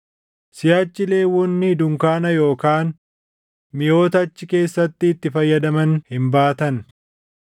siʼachi Lewwonni dunkaana yookaan miʼoota achi keessatti itti fayyadaman hin baatan.”